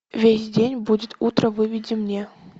весь день будет утро выведи мне